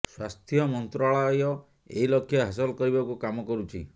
ସ୍ୱାସ୍ଥ୍ୟ ମନ୍ତ୍ରାଳୟ ଏହି ଲକ୍ଷ୍ୟ ହାସଲ କରିବାକୁ କାମ କରୁଛି